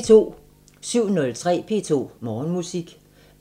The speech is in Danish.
07:03: P2 Morgenmusik